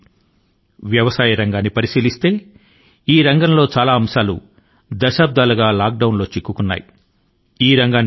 మీరు గనక మన వ్యవసాయ రంగానికేసి ఒకసారి దృష్టి ని సారించారా అంటే ఈ రంగం లోని అనేక విషయాలు సైతం దశాబ్దాల పాటు లాక్ డౌన్ స్థితి లో ఉండిపోయాయని మీరు గమనించగలుగుతారు